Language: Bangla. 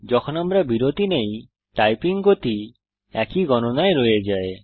যখন আমরা বিরতি নেই টাইপিং গতি একই গণনায় রয়ে যায়